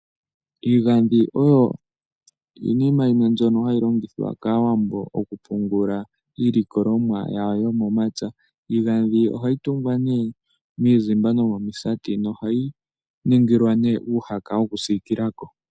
Iigandhi oyo iinima yimwe mbyono hayi longithwa kAawambo okupungula iilikolomwa yawo yomomapya. Iigandhi ohayi tungwa nee miizimba nomomisati, nohayi ningilwa nee uuhaka wokusiikila ko.